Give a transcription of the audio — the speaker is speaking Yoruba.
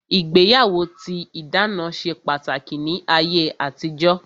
Ìgbéyàwó tí ìdáná ṣe pàtàkì ní ayé àtijó